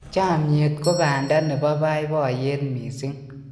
chamiet ko banda nebo baibaiyet mising